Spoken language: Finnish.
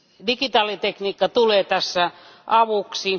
Digitaalitekniikka tulee tässä avuksi.